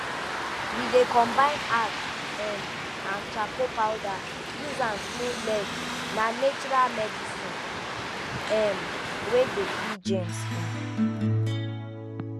we dey combine ash um and charcoal powder use am clean leg na natural medicine um wer dey kill germs um